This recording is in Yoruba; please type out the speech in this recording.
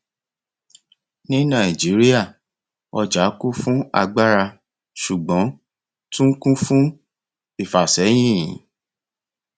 ní nàìjíríà ọjà kún fún agbára ṣùgbọn tún kún fún ìfasẹyin